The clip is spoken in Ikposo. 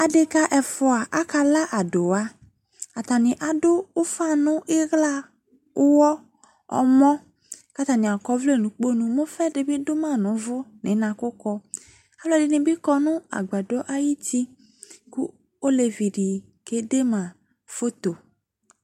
Adeka ɛfua aka la adowaAtane aso ufa no ihla, uwɔ ,ɔmɔ ka atane kɔ ɔvlɛ no lkponu Mo ufa de be do ma no uvu no inakokɔ Alɛde ne be kɔ no agbadɔ ayiti ko olevi de kede ma foto